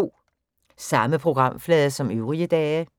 Samme programflade som øvrige dage